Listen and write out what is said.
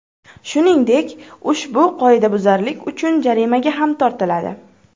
Shuningdek, ushbu qoidabuzarlik uchun jarimaga ham tortiladi.